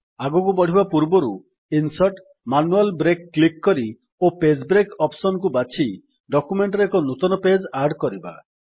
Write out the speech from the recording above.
ଆଗକୁ ବଢିବା ପୂର୍ବରୁ ଇନସର୍ଟ ଜିଟିଜିଟି ମ୍ୟାନୁଆଲ୍ ବ୍ରେକ୍ କ୍ଲିକ୍ କରି ଓ ପେଜ୍ ବ୍ରେକ୍ ଅପ୍ସନ୍ କୁ ବାଛି ଡକ୍ୟୁମେଣ୍ଟ୍ ରେ ଏକ ନୂତନ ପେଜ୍ ଆଡ୍ କରିବା